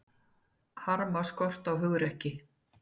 Harma skort á hugrekki